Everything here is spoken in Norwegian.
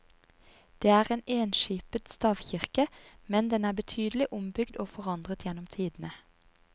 Det er en enskipet stavkirke, men den er betydelig ombygd og forandret gjennom tidene.